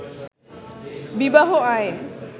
বিবাহ আইন